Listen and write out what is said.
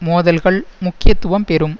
மோதல்கள் முக்கியத்துவம் பெறும்